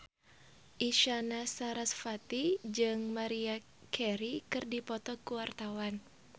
Isyana Sarasvati jeung Maria Carey keur dipoto ku wartawan